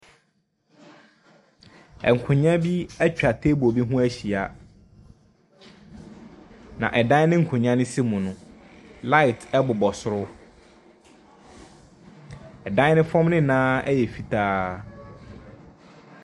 Nkonwa bi etwaa teebol bi ho ehyia. Na ɛdan na nkonwa no si mu no laet ɛbobɔ soro. Ɛdan ne fɔm nyinaa ɛyɛ fitaa.